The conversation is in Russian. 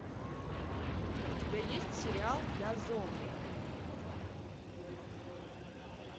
у тебя есть сериал я зомби